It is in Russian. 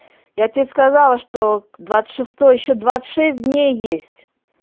я тебе сказала что двадцать шестое ещё двадцать шесть дней есть